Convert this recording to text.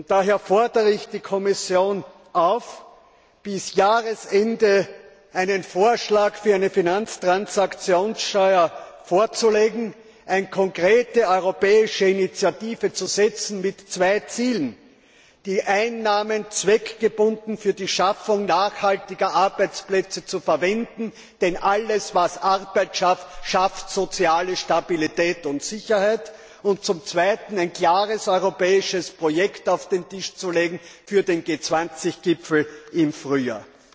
Daher fordere ich die Kommission auf, bis Jahresende einen Vorschlag für eine Finanztransaktionssteuer vorzulegen, eine konkrete europäische Initiative mit zwei Zielen zu setzen. Zum einen die Einnahmen zweckgebunden für die Schaffung nachhaltiger Arbeitsplätze zu verwenden, denn alles, was Arbeit schafft, schafft soziale Stabilität und Sicherheit. Zum zweiten ein klares europäisches Projekt auf den Tisch zu legen für den G20 Gipfel im Frühjahr.